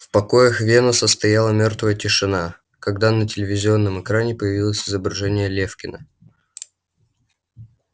в покоях венуса стояла мёртвая тишина когда на телевизионном экране появилось изображение лефкина